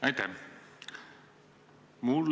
Aitäh!